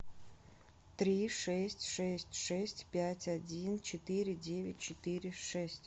три шесть шесть шесть пять один четыре девять четыре шесть